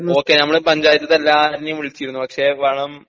okay നമ്മളെ പഞ്ചായത്തിത്തെ എല്ലാര്നേം വിളിച്ചിരുന്നു.പക്ഷെ വളം